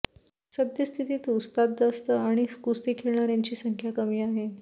सद्यस्थितीत वस्ताद जास्त आणि कुस्ती खेळणाऱ्यांची संख्या कमी आहे